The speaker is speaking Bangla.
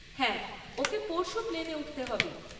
হ্যাঁ, ওকে পরশু প্লেনে উঠতে হবে।